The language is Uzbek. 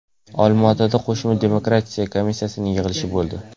Olmaotada qo‘shma demarkatsiya komissiyasining yig‘ilishi bo‘ldi.